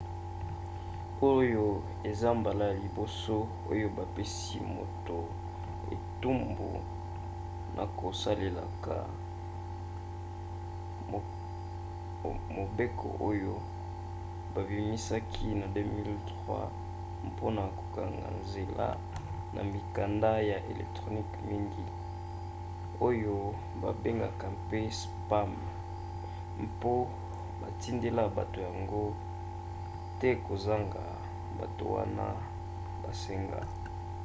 oyo eza mbala ya liboso oyo bapesi moto etumbu na kosalelaka mobeko oyo babimisaki na 2003 mpona kokanga nzela na mikanda ya electronique mingi oyo babengaka mpe spam mpo batindela bato yango te kozanga bato wana basenga